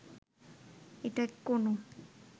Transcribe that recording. এটা কোনো